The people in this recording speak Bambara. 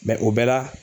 o bɛɛ la